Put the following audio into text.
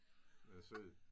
Den er sød